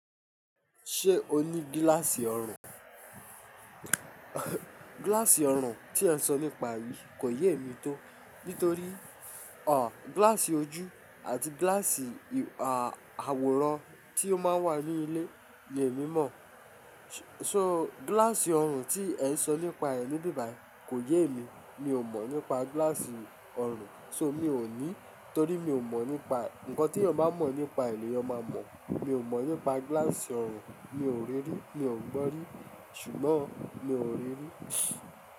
Ṣé o ní gíláàsì ọrùn? Gíláàsì ọrùn tí ẹ sọ nípa yi kò yé mi tó. Nítorí gíláàsì ojú àti gíláàsì àwòrán tí ó máa ń wà ní ilé ni èmi mọ̀. So gíláàsì ọrùn tí ẹ ń sọ nípa rẹ̀ níbí bàí kò yé emi. Mi ò mọ̀ nípa gíláàsì ọrùn, so mi ò ní. Torí mi ò mọ̀ nípa e ǹkan tí ènìyàn bá mọ̀ nípa rẹ̀ ni èèyàn máa mọ̀. Mi ò mọ̀ nípa gíláàsì ọrùn, mi ò rí rí, mi ò gbọ́ rí, ṣùgbọ́n mi ò rí rí.